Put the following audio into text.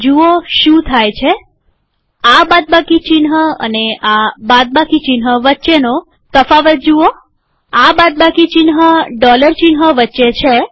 જુઓ શું થાય છે આ બાદબાકી ચિહ્ન અને આ બાદબાકી ચિહ્ન વચ્ચેનો તફાવત જુઓઆ બાદબાકી ચિહ્ન ડોલર ચિહ્ન વચ્ચે છે